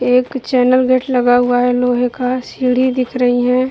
एक channel gate लगा हुआ है। लोहे का सीढ़ी दिख रही है |